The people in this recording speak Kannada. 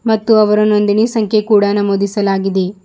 ಮತ್ತು ಅವರ ನೊಂದಿಣಿ ಸಂಖ್ಯೆ ಕೂಡ ನಮೂದಿಸಲಾಗಿದೆ.